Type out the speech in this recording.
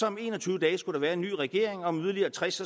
om en og tyve dage skulle være en ny regering og om yderligere tres